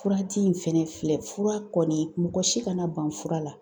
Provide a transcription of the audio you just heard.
Kurati in fɛnɛ filɛ fura kɔni mɔgɔ si kana ban fura la.